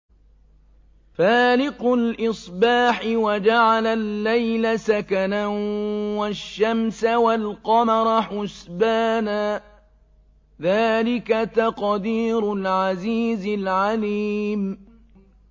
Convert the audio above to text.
فَالِقُ الْإِصْبَاحِ وَجَعَلَ اللَّيْلَ سَكَنًا وَالشَّمْسَ وَالْقَمَرَ حُسْبَانًا ۚ ذَٰلِكَ تَقْدِيرُ الْعَزِيزِ الْعَلِيمِ